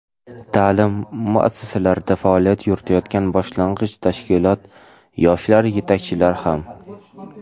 ta’lim muassasalarida faoliyat yuritayotgan boshlang‘ich tashkilot yoshlar yetakchilari ham.